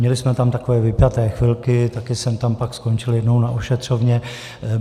Měli jsme tam takové vypjaté chvilky, také jsem tam pak skončil jednou na ošetřovně.